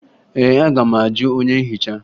Ee, aga m ajụ onye nhicha